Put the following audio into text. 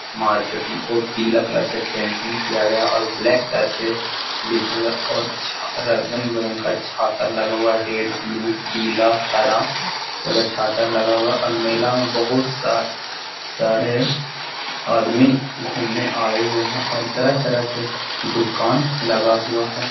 Market में ओ पीला कलर से पेंटिंग किया गया और ब्लैक कलर से लिखा गया और छ अ रंग बिरंग का छाता लगा हुआ रेड ब्लू पीला हरा एगो छाता लगा हुआ और मेला में बहुत सा सारे आदमी घुमने आए हुए हैं और तरह-तरह के दुकान लगा हुआ है।